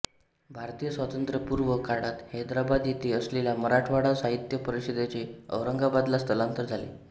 भारतीय स्वातंत्र्यपूर्व काळात हैदराबाद येथे असलेल्या मराठवाडा साहित्य परिषदेचे औरंगाबादला स्थलांतर झाले